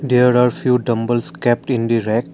there are few dumbbells kept in the rack.